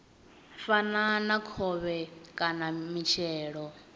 fana na khovhe kana mitshelo